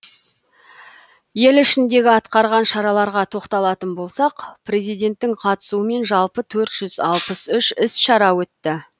ел ішіндегі атқарған шараларға тоқталатын болсақ президенттің қатысуымен жалпы төрт жүз алпыс үш іс шара өтті